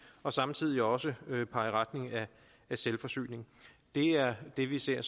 og samtidig også pege i retning af selvforsyning det er det vi ser